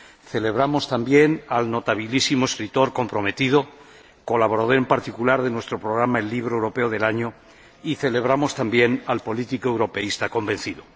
Celebramos también al notabilísimo escritor comprometido, colaborador en particular de nuestro programa del Libro Europeo del Año, y celebramos también al político europeísta convencido.